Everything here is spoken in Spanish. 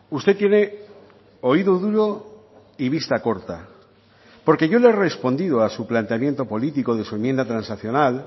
usted tiene oído duro y vista corta porque yo le he respondido a su planteamiento político de su enmienda transaccional